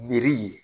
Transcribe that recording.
Miiri ye